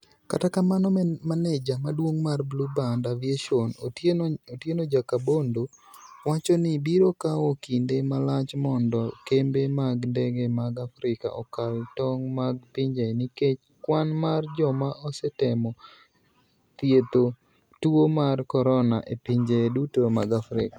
Kata kamano, maneja maduong' mar BlueBird Aviation, Otieno Jakabondo, wacho ni biro kawo kinde malach mondo kembe mag ndege mag Afrika okal tong' mag pinje nikech kwan mar joma osetemo thiedho tuo mar Corona e pinje duto mag Afrika.